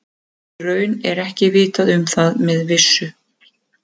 En í raun er ekki vitað um það með vissu.